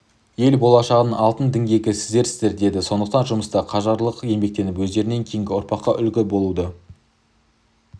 ел болашағының алтын діңгегі сіздерсіздер деді сондықтан жұмыста қажырлы еңбектеніп өздерінен кейінгі ұрпаққа үлгі болуды